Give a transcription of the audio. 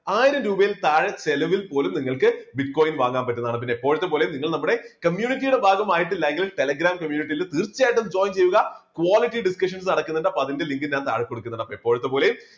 ആയിരം രൂപയിൽ താഴെ ചെലവിൽ പോലും നിങ്ങൾക്ക് bitcoin വാങ്ങാൻ പറ്റുന്നതാണ്. പിന്നെ എപ്പഴത്തെ പോലും നിങ്ങൾ നമ്മുടെ community യുടെ ഭാഗമായിട്ടില്ല എങ്കിൽ telegram community യിൽ തീർച്ചയായിട്ടും join ചെയ്യുക. quality discussions നടക്കുന്നുണ്ട് അപ്പൊ അതിന്റെ link താഴെ കൊടുക്കുന്നുണ്ട്. എപ്പഴത്തെ പോലെയും